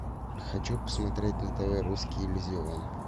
хочу посмотреть на тв русский иллюзион